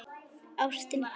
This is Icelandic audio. Ástin gefur.